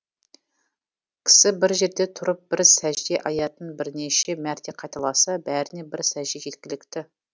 кісі бір жерде тұрып бір сәжде аятын бірнеше мәрте қайталаса бәріне бір сәжде жеткілікті